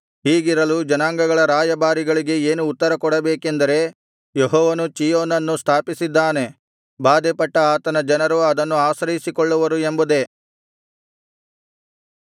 ಹೀಗಿರಲು ಜನಾಂಗಗಳ ರಾಯಭಾರಿಗಳಿಗೆ ಏನು ಉತ್ತರ ಕೊಡಬೇಕೆಂದರೆ ಯೆಹೋವನು ಚೀಯೋನನ್ನು ಸ್ಥಾಪಿಸಿದ್ದಾನೆ ಬಾಧೆಪಟ್ಟ ಆತನ ಜನರು ಅದನ್ನು ಆಶ್ರಯಿಸಿಕೊಳ್ಳುವರು ಎಂಬುದೇ